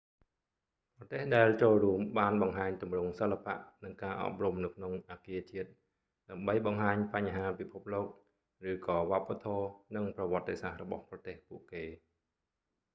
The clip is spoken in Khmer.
ប្រទេសដែលចូលរួម បានបង្ហាញទម្រង់សិល្បៈ និងការអប់រំនៅក្នុងអគារជាតិ ដើម្បីបង្ហាញបញ្ហាពិភពលោក ឬក៏វប្បធម៌ និងប្រវត្តិសាស្ត្ររបស់ប្រទេសពួកគេ